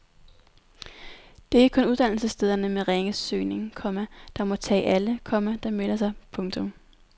Det er ikke kun uddannelsesstederne med ringe søgning, komma der må tage alle, komma der melder sig. punktum